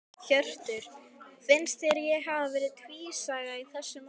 Hjörtur: Finnst þér þeir hafi verið tvísaga í þessu máli?